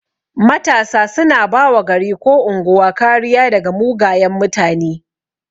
Matasa suna bawa gari ko unguwa kariya daga mugayan mutane